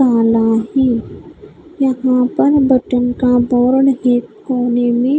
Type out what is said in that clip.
ताला है यहाँ पर बटन का बोर्ड है कोने मे--